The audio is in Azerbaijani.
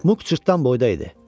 Muk cırtdan boyda idi.